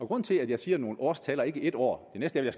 grunden til at jeg siger nogle årstal og ikke et år det næste er